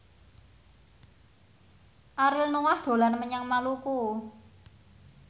Ariel Noah dolan menyang Maluku